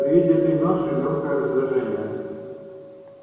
при виде этой ноши лёгкое раздражение